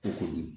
O kɔni